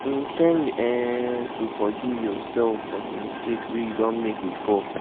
in ten d um to forgive yourself for di mistake wey you don make before